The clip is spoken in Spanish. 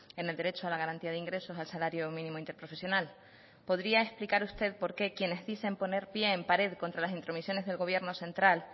en el derecho a la garantía de ingresos al salario mínimo interprofesional podría explicar usted por qué quienes dicen poner pie en pared contra las intromisiones del gobierno central